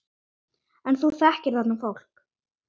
En þú þekkir þarna fólk?